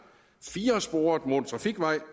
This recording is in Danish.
firesporet motortrafikvej